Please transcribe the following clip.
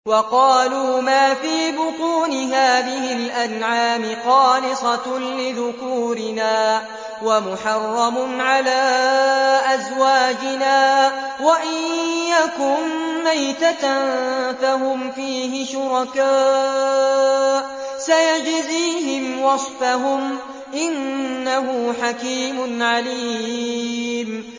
وَقَالُوا مَا فِي بُطُونِ هَٰذِهِ الْأَنْعَامِ خَالِصَةٌ لِّذُكُورِنَا وَمُحَرَّمٌ عَلَىٰ أَزْوَاجِنَا ۖ وَإِن يَكُن مَّيْتَةً فَهُمْ فِيهِ شُرَكَاءُ ۚ سَيَجْزِيهِمْ وَصْفَهُمْ ۚ إِنَّهُ حَكِيمٌ عَلِيمٌ